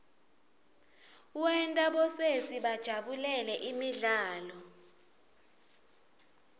wenta bosesi bajabulele imidlalo